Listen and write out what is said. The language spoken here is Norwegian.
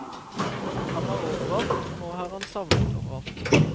Han var overalt, og nå er han savnet overalt.